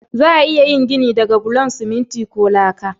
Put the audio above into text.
Za'a iya yin gini da bulan siminti ko laka.